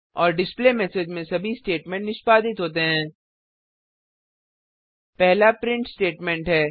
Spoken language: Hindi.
और डिस्प्लेमेसेज में सभी स्टेटमेंट निष्पादित होते हैं पहला प्रिंट स्टेटमेंट है